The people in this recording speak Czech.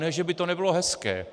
Ne že by to nebylo hezké.